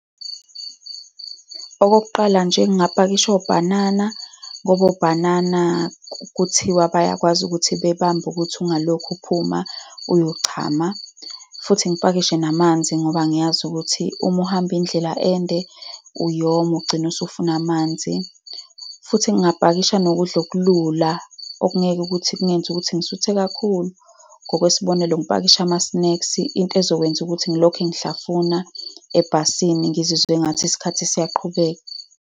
Okokuqala nje, ngingapakisha obhanana, ngoba obhanana kuthiwa bayakwazi ukuthi bebambe ukuthi ungalokhu uphuma uyochama, futhi ngipakishe namanzi, ngoba ngiyazi ukuthi uma uhamba indlela ende, uyoma, ugcine usufuna amanzi. Futhi ngingapakisha nokudla okulula okungeke ukuthi kungenze ukuthi ngisuthe kakhulu. Ngokwesibonelo, ngipakishe ama-snacks, into ezokwenza ukuthi ngilokhu ngihlafuna ebhasini, ngizizwe engathi isikhathi siyaqhubeka.